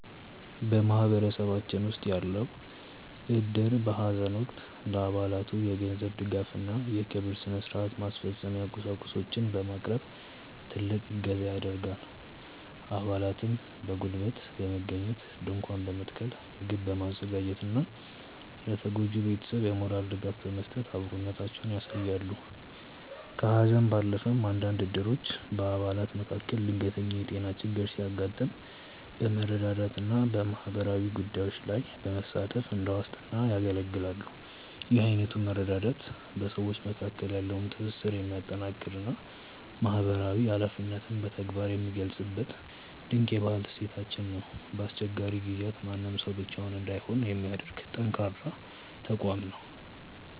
በማህበረሰባችን ውስጥ ያለው እድር በሐዘን ወቅት ለአባላቱ የገንዘብ ድጋፍና የቀብር ሥነ-ሥርዓት ማስፈጸሚያ ቁሳቁሶችን በማቅረብ ትልቅ እገዛ ያደርጋል። አባላትም በጉልበት በመገኘት ድንኳን በመትከል፣ ምግብ በማዘጋጀትና ለተጎጂው ቤተሰብ የሞራል ድጋፍ በመስጠት አብሮነታቸውን ያሳያሉ። ከሐዘን ባለፈም፣ አንዳንድ እድሮች በአባላት መካከል ድንገተኛ የጤና ችግር ሲያጋጥም በመረዳዳትና በማህበራዊ ጉዳዮች ላይ በመሳተፍ እንደ ዋስትና ያገለግላሉ። ይህ አይነቱ መረዳዳት በሰዎች መካከል ያለውን ትስስር የሚያጠናክርና ማህበራዊ ኃላፊነትን በተግባር የሚገልጽበት ድንቅ የባህል እሴታችን ነው። በአስቸጋሪ ጊዜያት ማንም ሰው ብቻውን እንዳይሆን የሚያደርግ ጠንካራ ተቋም ነው።